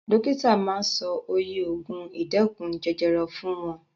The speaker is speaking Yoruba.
Dókítà ma sọ oye ògùn ìdẹ́kun jẹjẹrẹ fún wọn.